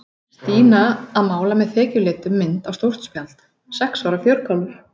Stína að mála með þekjulitum mynd á stórt spjald, sex ára fjörkálfur.